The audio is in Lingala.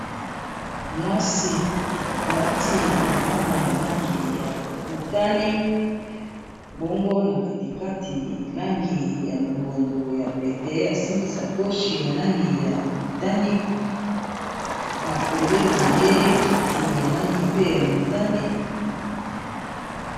Mwasi alati elamba ya langi ya motane bongo na katikati langi ya longondo ya pete asimbi sakoch ya langi ya motane pembeni na ye kiti ya langi pe ya motane.